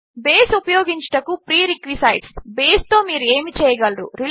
base ఉపయోగించుటకు prerequisites బేస్తో మీరు ఏమి చేయగలరు